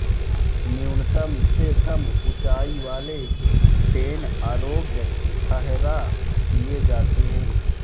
न्यूनतम से कम ऊंचाईवाले डेन अयोग्य ठहरा दिये जाते हैं